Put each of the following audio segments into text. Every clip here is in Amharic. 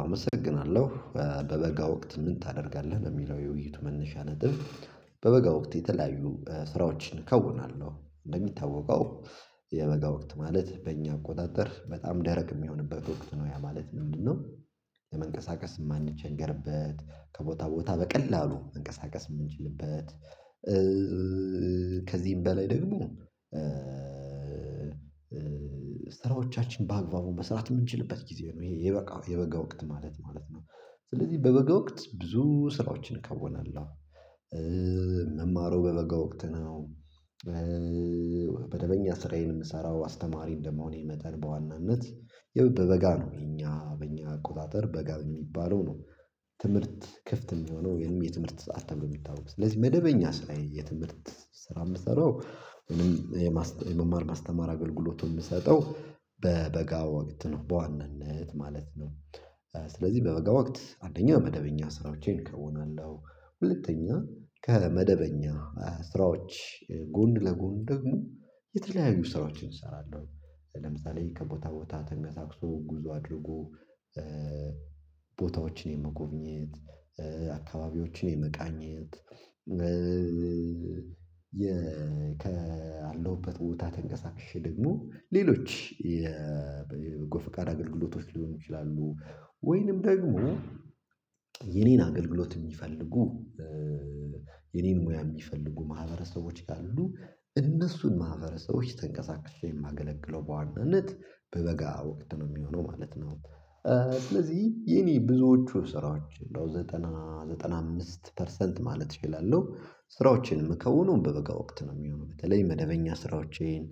አመሰግናለሁ በበጋ ወቅት ምን ታደርጋለህ ነው የሚለው የውይይት መነሻ ነጥብ? በበጋ ወቅት የተለያዩ ስራዎችን ከውናለሁ። እንደሚታወቀው የበጋ ወቅት ማለት በእኛ አቆጣጠር በጣም ደረቅ የሚሆንበት ወቅት ነው ያ ማለት ምንድነው? ለመንቀሳቀስ የማንቸገርበት ከቦታ ቦታ በቀላሉ መንቀሳቀስ የምንችልበት። ከዚህም በላይ ደግሞ ስራዎቻችን በአግባቡ መስራት የምንችልበት ጊዜ ነው ይሄ የበጋ የበጋ ወቅት ማለት ነው። ስለዚህ በበጋ ወቅት ብዙ ስራዎችን ከውናለሁ ምማረው በበጋ ወቅት ነው። መደበኛ ስራዬን የምሰራው አስተማሪ እንደመሆኔ መጠን በዋናነት ያው በበጋ ነው የኛ በእኛ አቆጣጠር በጋ የሚባለው ነው። ትምህርት ክፍት የሚሆነው ወይም የትምህርት ሰዓት ተብሎ የሚታወቅ ስለዚህ መደበኛ ስራ የትምህርት ስራ የምሰራው እኔም የመማር ማስተማር አገልግሎቱን የምሰጠው በበጋ ወቅት ነው በዋናነት ማለት ነው። ስለዚህ በበጋ ወቅት አንደኛ መደበኛ ስራዎቼን ከውናለው ሁለተኛ ከመደበኛ ስራዎች ጎን ለጎን ደግሞ የተለያዩ ስራዎችን እሰራለሁ። ለምሳሌ ከቦታ ቦታ ተንቀሳቅሶ ጉዞ አድርጎ ቦታዎችን የመጎብኘት አካባቢዎችን የመቃኘት ያለሁበት ቦታ ተንቀሳቅሼ ደግሞ ሌሎች የበጎ ፍቃድ አገልግሎቶች ሊሆኑ ይችላሉ። ወይንም ደግሞ የኔን አገልግሎት የሚፈልጉ የኔን ሙያ የሚፈልጉ ማህበረሰቦች ካሉ እነሱን ማህበረሰቦች ተንቀሳቅሼ የማገለግለው በዋናነት በበጋ ወቅት ነው የሚሆነው ማለት ነው። ስለዚህ የኔ ብዙዎቹ ስራዎች እንደው ዘጠና ዘጠና አምስት ፐርሰንት ማለት እችላለሁ ስራዎቼን የምከውነው በበጋ ወቅት ነው የሚሆነው በተለይ መደበኛ ስራዎቼን።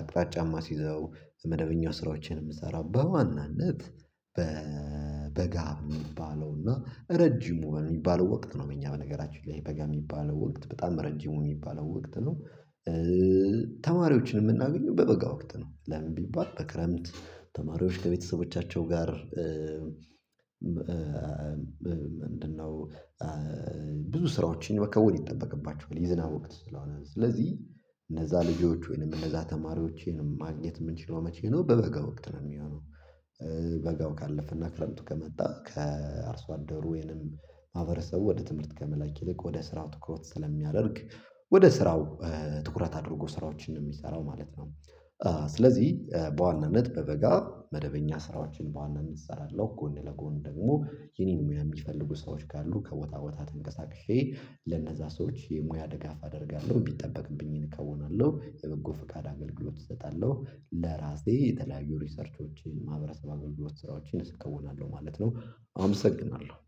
አቅጣጫ ማሲይዘው መደበኛ ስራዎቼን የምሰራው በዋናነት በበጋ የሚባለው እና ረጅሙ የሚባለው ወቅት ነው በእኛ በነገራችን ላይ በጋ የሚባለው ወቅት በጣም ረጅሙ የሚባለው ወቅት ነው። ተማሪዎችን የምናገኘው በበጋ ወቅት ነው። ለምን ቢባል በክረምት ተማሪዎች ከቤተሰቦቻቸው ጋር ምንድነው? ብዙ ስራዎችን መከወን ይጠበቅባቸዋል የዝናብ ወቅት ስለሆነ ስለዚህ እነዛ ልጆች ወይንም እነዛ ተማሪዎቼን ማግኘት የምችለው መቼ ነው በበጋ ወቅት ነው የሚሆነው? በጋው ካለፈና ክረምቱ ከመጣ ከአርሶ አደሩ ወይንም ማህበረሰቡ ወደ ትምህርት ከመላክ ይልቅ ወደ ስራው ትኩረት ስለሚያደርግ ወደ ስራው ትኩረት አድርጎ ስራዎችን ነው የሚሰራው ማለት ነው። ስለዚህ በዋናነት በበጋ መደበኛ ስራዎችን በዋናነት እሰራለሁ ጎን ለጎን ደግሞ የኔን ሙያ የሚፈልጉ ሰዎች ካሉ ከቦታ ቦታ ተንቀሳቅሼ ለነዛ ሰዎች የሙያ ድጋፍ አደርጋለሁ የሚጠበቅብኝን እከውናለሁ የበጎ ፍቃድ አገልግሎት እሰጣለሁ። ለራሴ የተለያዩ ሪሰርቾችን ማህበረሰብ አገልግሎት ስራዎችን እከውናለሁ ማለት ነው። አመሰግናለሁ።